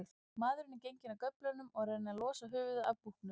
Maðurinn er genginn af göflunum og er að reyna losa höfuðið af búknum.